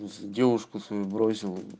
ну с девушку свою бросил